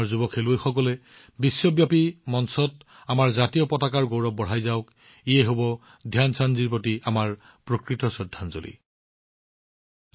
আমাৰ যুৱ খেলুৱৈসকলে বিশ্বব্যাপী মঞ্চত আমাৰ ত্ৰিৰংগাৰ গৌৰৱ বঢ়াই থাকক এইটো ধ্যান চান্দজীৰ প্ৰতি আমাৰ শ্ৰদ্ধাঞ্জলি জ্ঞাপন হব